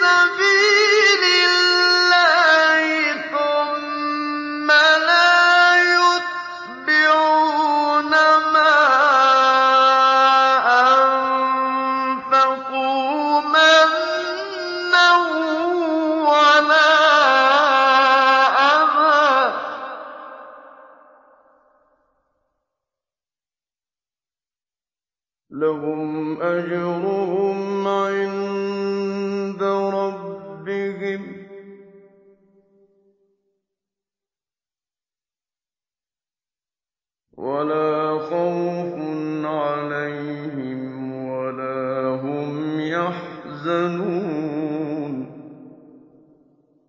سَبِيلِ اللَّهِ ثُمَّ لَا يُتْبِعُونَ مَا أَنفَقُوا مَنًّا وَلَا أَذًى ۙ لَّهُمْ أَجْرُهُمْ عِندَ رَبِّهِمْ وَلَا خَوْفٌ عَلَيْهِمْ وَلَا هُمْ يَحْزَنُونَ